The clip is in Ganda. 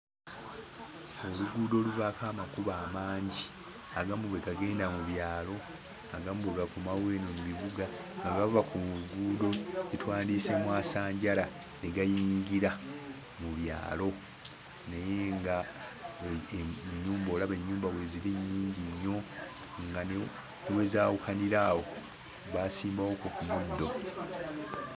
Oluguudo oluvaako amakubo amangi. Agamu bwe gagenda mu byalo, agamu bwe gakomawo eno mu bibuga nga gava ku nguudo ze twandiyise mwasanjala ne gayingira mu byalo naye ng'ennyumba olaba ennyumba weeziri nnyingi nnyo nga ne we zaawukanira awo baasimbawokko ku muddo.